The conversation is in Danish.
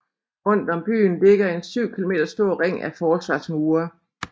Rundt om byen ligger en 7 km stor ring af forsvarsmure